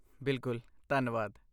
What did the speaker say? ਬਿਲਕੁਲ, ਧੰਨਵਾਦ।